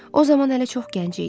O zaman hələ çox gənc idi.